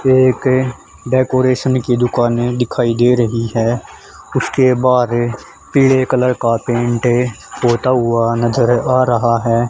एक डेकोरेशन की दुकाने दिखाई दे रही है उसके बहार पीले कलर का पेंट होता हुआ नजर आ रहा है।